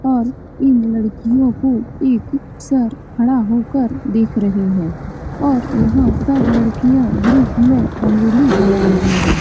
और इ लड़कियों को सर खड़े होकर देख रहे हैं और यहां सब लड़कियां ग्रुप में रंगोली बना रही है।